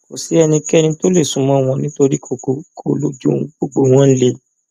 kò sí ẹnìkankan tó lè sún mọ wọn nítorí kokoko lojú gbogbo wọn le